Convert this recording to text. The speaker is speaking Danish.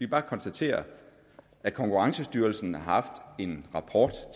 bare konstatere at konkurrencestyrelsen har haft en rapport